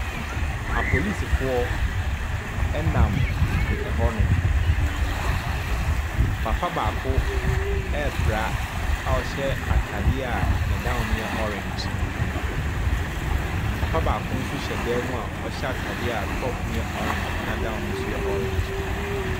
Apolisifoɔ nam hɔnom. Papa baako repra a ɔhyɛ atadeɛ a ne down no yɛ orange. Papa baako nso hyɛ dan mu a ɔhyɛ atadeɛ a top no yɛ orange, ɛna down no nso yɛ orange.